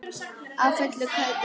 Á fullu kaupi.